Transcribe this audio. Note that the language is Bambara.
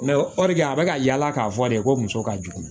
a bɛ ka yaala k'a fɔ de ko muso ka jugu